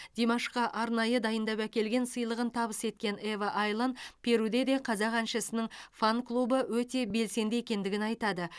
димашқа арнайы дайындап әкелген сыйлығын табыс еткен ева айлан перуде де қазақ әншісінің фан клубы өте белсенді екендігін айтады